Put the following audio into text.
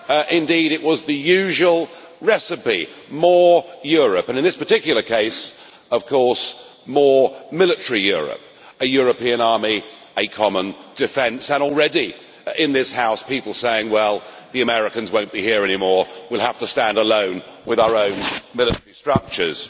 Indeed, it was the usual recipe more Europe, and in this particular case, more military Europe a European army, common defence, and already in this House people are saying, well, the Americans will not be here anymore and we will have to stand alone with our own military structures.